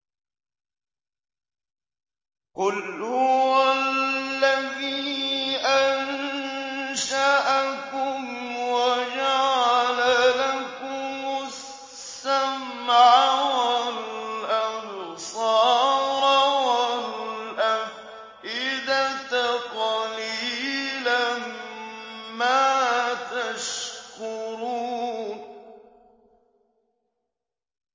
قُلْ هُوَ الَّذِي أَنشَأَكُمْ وَجَعَلَ لَكُمُ السَّمْعَ وَالْأَبْصَارَ وَالْأَفْئِدَةَ ۖ قَلِيلًا مَّا تَشْكُرُونَ